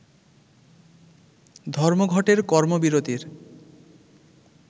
ধর্মঘটের কর্মবিরতির